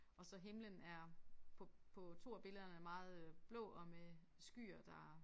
Og så himlen er på på 2 af billederne meget øh blå og med skyer der